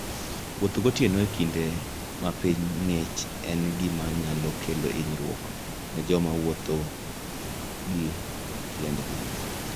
Wuotho gotieno e kinde ma piny ng'ich en gima nyalo kelo hinyruok ne joma wuotho gi tiendgi.